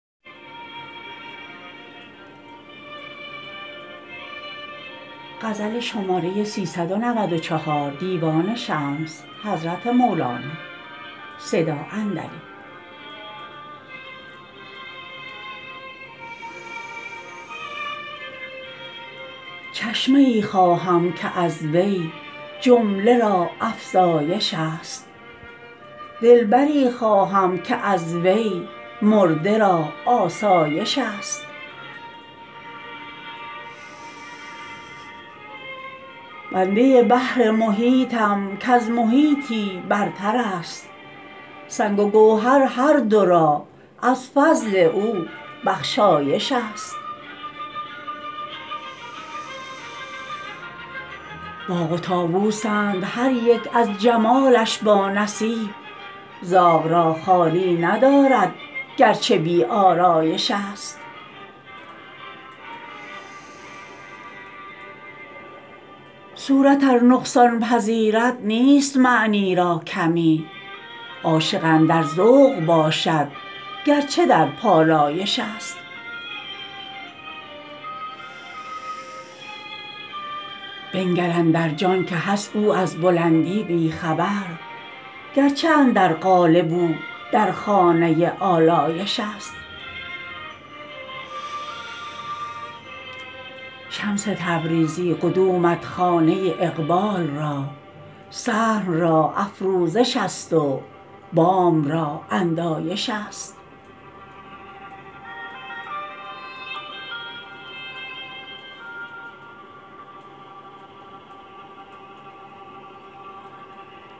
چشمه ای خواهم که از وی جمله را افزایش است دلبری خواهم که از وی مرده را آسایش است بنده بحر محیطم کز محیطی برتر است سنگ و گوهر هر دو را از فضل او بخشایش است باغ و طاووسند هر یک از جمالش بانصیب زاغ را خالی ندارد گرچه بی آرایش است صورت ار نقصان پذیرد نیست معنی را کمی عاشق اندر ذوق باشد گرچه در پالایش است بنگر اندر جان که هست او از بلندی بی خبر گرچه اندر قالب او در خانه آلایش است شمس تبریزی قدومت خانه اقبال را صحن را افروزش است و بام را اندایش است